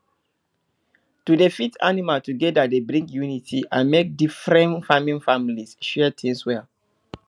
to dey feed animal together dey bring unity and make different farming families share things well